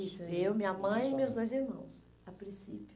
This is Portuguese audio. Isso, eu, minha mãe e meus dois irmãos, a princípio.